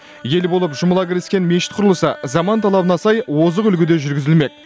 ел болып жұмыла кіріскен мешіт құрылысы заман талабына сай озық үлгіде жүргізілмек